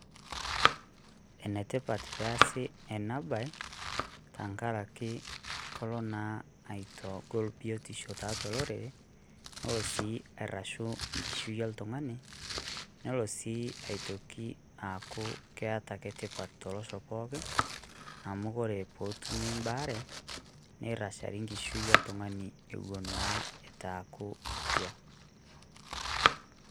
enetipat peasi ena baee tenkaraki kelo naa aitagol biotisho tolorere nelo sii airashu enkishui oltung'ani nelo sii aitoki aaku ketaa ake tipat tolosho pookin amu wore petumi mbaa are nirashari enkishui oltungani ewuon naa itu aku etua